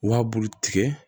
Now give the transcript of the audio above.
Wa bulu tigɛ